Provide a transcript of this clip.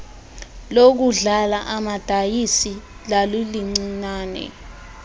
lokudlala amadayisi lalilincinane